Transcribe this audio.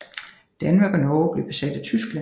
Danmark og Norge blev besat af Tyskland